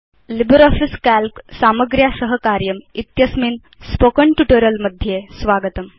LibreOffice Calc - सामग्र्या सह कार्यम् इत्यस्मिन् स्पोकेन ट्यूटोरियल् मध्ये स्वागतम्